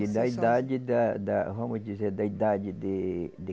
Da idade da da, vamos dizer, da idade de de